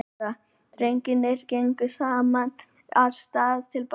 Drengirnir gengu saman af stað til baka.